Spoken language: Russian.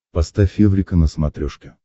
поставь эврика на смотрешке